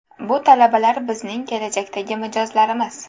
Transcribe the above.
Bu talabalar bizning kelajakdagi mijozlarimiz.